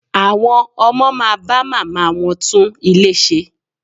Àwọn ọmọ máa bá màmá wọ́n tún ilé ṣe.